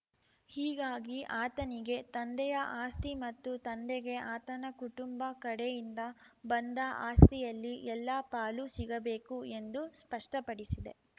ಹೀಗಾಗಿ ಆತನಿಗೆ ತಂದೆಯ ಆಸ್ತಿ ಮತ್ತು ತಂದೆಗೆ ಆತನ ಕುಟುಂಬ ಕಡೆಯಿಂದ ಬಂದ ಆಸ್ತಿಯಲ್ಲಿ ಎಲ್ಲಾ ಪಾಲು ಸಿಗಬೇಕು ಎಂದು ಸ್ಪಷ್ಟಪಡಿಸಿದೆ